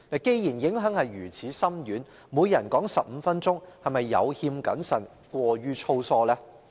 既然影響如此深遠，每人發言15分鐘，是否有欠謹慎和過於粗疏？